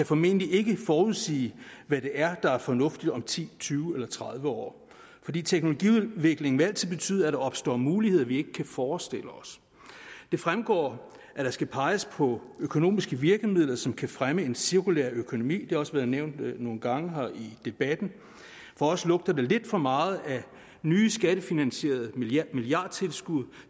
formentlig ikke forudsige hvad det er der er fornuftigt om ti tyve eller tredive år fordi teknologiudviklingen altid vil betyde at der opstår muligheder som vi ikke kan forestille os det fremgår at der skal peges på økonomiske virkemidler som kan fremme en cirkulær økonomi det har også været nævnt nogle gange her i debatten for os lugter det lidt for meget af nye skattefinansierede milliardtilskud